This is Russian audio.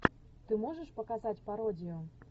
ты можешь показать пародию